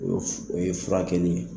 O o ye fura kɛlen ye.